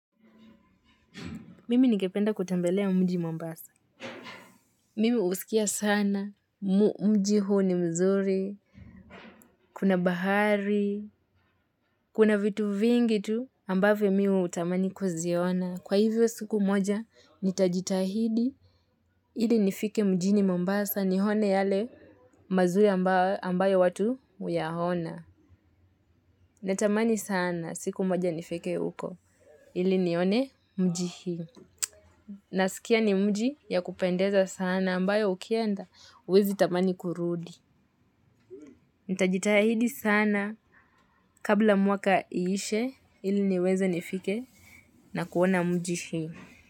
Mimi ningependa kutambelea mji mombasa. Mimi usikia sana. Mji huu ni mzuri. Kuna bahari. Kuna vitu vingi tu. Ambavyo mi hutamani kuziona. Kwa hivyo siku moja, nitajitahidi. Ili nifike mjini mombasa. Nione yale mazuri ambayo watu huya ona. Natamani sana siku moja nifike huko. Ili nione mji huu. Nasikia ni mji ya kupendeza sana. Na ambayo ukienda uwezi tamani kurudi. Itajitahidi sana kabla mwaka iishe ili niweze nifike na kuona mji hii.